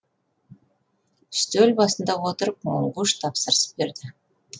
үстел басына отырып монгуш тапсырыс берді